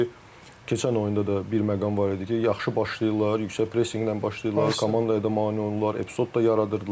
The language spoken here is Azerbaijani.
Ona görə ki, keçən oyunda da bir məqam var idi ki, yaxşı başlayırlar, yüksək pressinqlə başlayırlar, komandaya da mane olurlar, epizod da yaradırdılar.